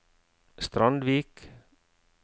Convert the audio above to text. Strandvik